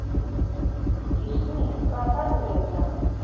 Gíslný, hvaða dagur er í dag?